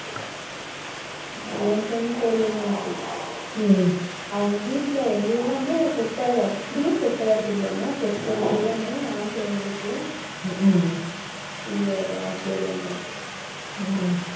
அவங்க வீட்டில எல்லாமே set அப்படியே set ஆகறது இல்லையாமா